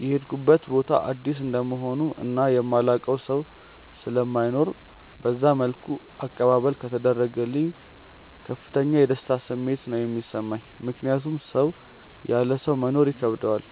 የሄድኩበት ቦታ አዲስ እንደመሆኑ እና የማላውቀው ሰው ስለማይኖር በዛ መልኩ አቀባበል ከተደረገልኝ ከፍተኛ የደስታ ስሜት ነው የሚሰማኝ። ምክንያቱም ሰው ያለ ሰው መኖር ይከብደዋል፤